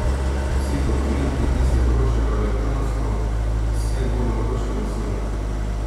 Vsi dokumenti, ki se vročajo elektronsko, se bodo vročali osebno.